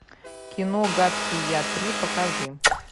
кино гадкий я три покажи